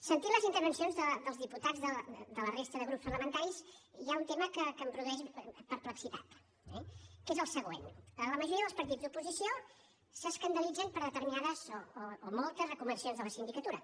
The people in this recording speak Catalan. sentint les intervencions dels diputats de la resta de grups parlamentaris hi ha un tema que em produeix perplexitat eh que és el següent la majoria dels partits d’oposició s’escandalitzen per determinades o moltes recomanacions de la sindicatura